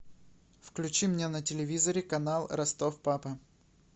включи мне на телевизоре канал ростов папа